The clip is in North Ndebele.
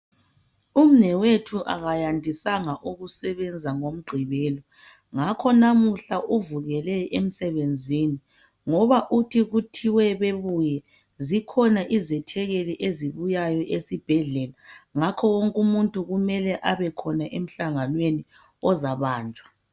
Umnewethu akayandisanga ukusebenza ngoMgqibelo ngakho namuhla uvukele emsebenzini ngoba uthi kuthiwe bebuye zikhona izethekeli ezibuyayo esibhedlela ngakho wonke umuntu kumele abekhona emhlanganweni ozabanjwa